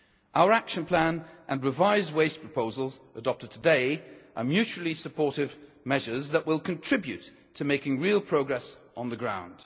Our action plan and revised waste proposals adopted today are mutually supportive measures that will contribute to making real progress on the ground.